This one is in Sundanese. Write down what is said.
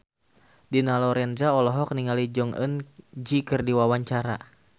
Dina Lorenza olohok ningali Jong Eun Ji keur diwawancara